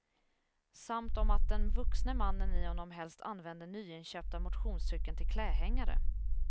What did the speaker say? Samt om att den vuxne mannen i honom helst använder nyinköpta motionscykeln till klädhängare.